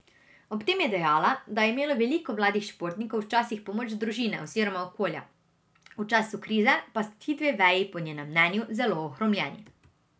Ob tem je dejala, da je imelo veliko mladih športnikov včasih pomoč družine oziroma okolja, v času krize pa sta ti dve veji po njenem mnenju zelo ohromljeni.